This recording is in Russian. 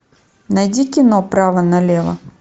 найди кино право налево